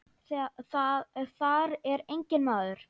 Þar er enginn maður.